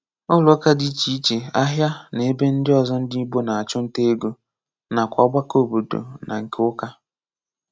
Ụ́lọ̀ ụ́ka dị iche iche, áhịa, na ebe ndị ọzọ ndị Ìgbò na-achụ̀ nta égo, nakwá ògbàkọ̀ òbòdò na nke ụ́ka.